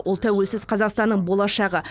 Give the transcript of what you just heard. ол тәуелсіз қазақстанның болашағы